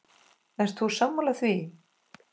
Ert þú sammála því?